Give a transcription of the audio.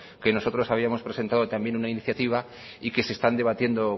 que nosotros habíamos presentado también una iniciativa y que se están debatiendo